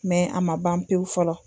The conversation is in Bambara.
a ma ban pewu fɔlɔ.